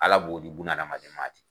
Ala b'o di bunadamaden ma de.